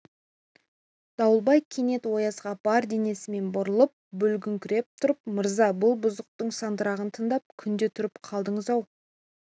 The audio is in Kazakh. дауылбай кенет оязға бар денесімен бұрылып бүгіліңкіреп тұрып мырза бұл бұзықтың сандырағын тыңдап күнде тұрып қалдыңыз-ау